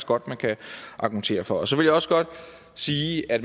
godt man kan argumentere for så vil jeg også godt sige at